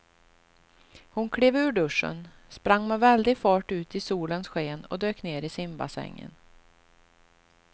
Hon klev ur duschen, sprang med väldig fart ut i solens sken och dök ner i simbassängen.